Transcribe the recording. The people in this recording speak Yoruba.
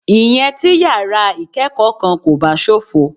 Ìyẹn tí yàrá ìkẹ́kọ̀ọ́ kankan kò bá ṣófo.